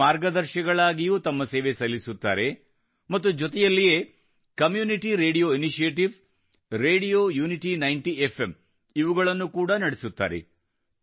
ಇವರು ಮಾರ್ಗದರ್ಶಿಗಳಾಗಿಯೂ ತಮ್ಮ ಸೇವೆ ಸಲ್ಲಿಸುತ್ತಾರೆ ಮತ್ತು ಜೊತೆಯಲ್ಲಿಯೇ community radio initiative radio unity 90 FM ಇವುಗಳನ್ನು ಕೂಡಾ ನಡೆಸುತ್ತಾರೆ